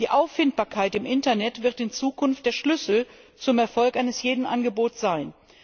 Die Auffindbarkeit im Internet wird in Zukunft der Schlüssel zum Erfolg eines jeden Angebots sein.